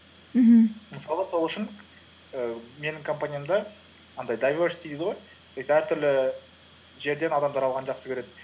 мхм мысалы сол үшін ііі менің компаниямда дайверсити дейді ғой то есть әртүрлі жерден адамдар алған жақсы көреді